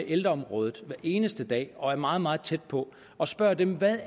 ældreområdet hver eneste dag og er meget meget tæt på og spørger dem hvad